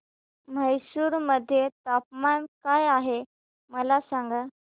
म्हैसूर मध्ये तापमान काय आहे मला सांगा